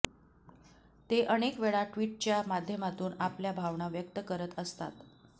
ते अनेकवेळा टि्वटच्या माध्यमातून आपल्या भावना व्यक्त करत असतात